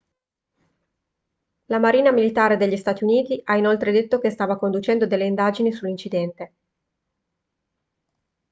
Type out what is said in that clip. la marina militare degli stati uniti ha inoltre detto che stava conducendo delle indagini sull'incidente